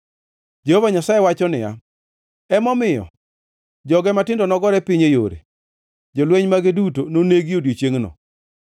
Jehova Nyasaye wacho niya, “Emomiyo, joge matindo nogore piny e yore; jolweny mage duto nonegi odiechiengno.”